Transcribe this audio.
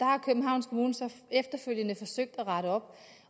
har københavns kommune så efterfølgende forsøgt at rette op